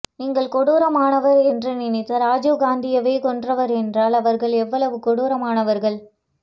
நீங்கள் கொடூரமானவர் என்று நினைத்த ராஜீவ்காந்தியையே கொன்றவர்கள் என்றால் அவர்கள் எவ்வளவு கொடூரமானவர்கள்